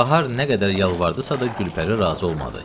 Bahar nə qədər yalvardısa da Gülpəri razı olmadı.